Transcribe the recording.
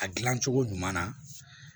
A gilan cogo ɲuman na